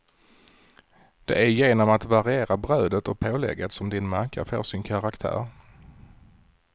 Det är genom att variera brödet och pålägget som din macka får sin karaktär.